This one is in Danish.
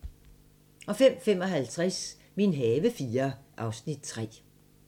05:55: Min have IV (Afs. 3)